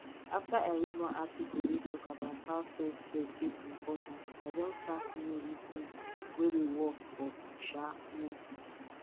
after i read one article wey talk about how selfcare take important i don start new routine wey dey work for um me